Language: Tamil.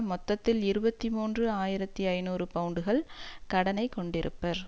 மொத்தத்தில் இருபத்தி மூன்று ஆயிரத்தி ஐநூறு பவுண்டுகள் கடனை கொண்டிருப்பர்